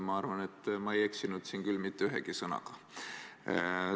Ma arvan, et ma ei eksinud siin küll mitte ühegi sõnaga.